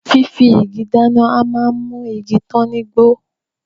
Fífi igi dáná a máa mú igi tán ní gbó